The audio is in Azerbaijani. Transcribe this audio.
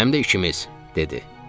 Həm də ikimiz, dedi.